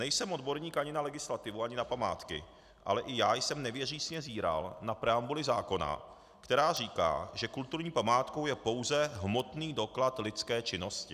Nejsem odborník ani na legislativu, ani na památky, ale i já jsem nevěřícně zíral na preambuli zákona, která říká, že kulturní památkou je pouze hmotný doklad lidské činnosti.